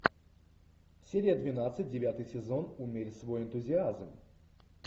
серия двенадцать девятый сезон умерь свой энтузиазм